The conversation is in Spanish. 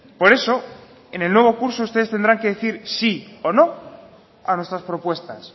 por eso en el nuevo curso ustedes tendrán que decir sí o no a nuestras propuestas